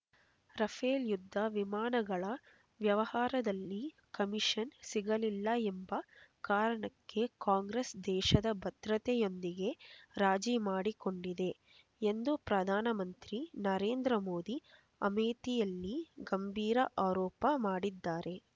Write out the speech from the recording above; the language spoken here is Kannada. ರಫೇಲ್ ಯುದ್ಧ ವಿಮಾನಗಳ ವ್ಯವಹಾರದಲ್ಲಿ ಕಮಿಷನ್ ಸಿಗಲಿಲ್ಲ ಎಂಬ ಕಾರಣಕ್ಕೆ ಕಾಂಗ್ರೆಸ್ ದೇಶದ ಭದ್ರತೆಯೊಂದಿಗೆ ರಾಜಿ ಮಾಡಿಕೊಂಡಿದೆ ಎಂದು ಪ್ರಧಾನ ಮಂತ್ರಿ ನರೇಂದ್ರ ಮೋದಿ ಅಮೇಥಿಯಲ್ಲಿ ಗಂಭೀರ ಆರೋಪ ಮಾಡಿದ್ದಾರೆ